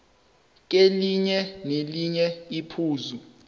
kelinye nelinye iphuzu